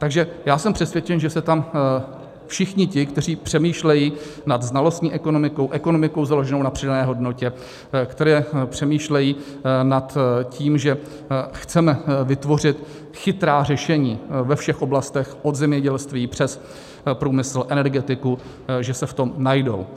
Takže já jsem přesvědčen, že se tam všichni ti, kteří přemýšlejí nad znalostní ekonomikou, ekonomikou založenou na přidané hodnotě, kteří přemýšlejí nad tím, že chceme vytvořit chytrá řešení ve všech oblastech od zemědělství přes průmysl, energetiku, že se v tom najdou.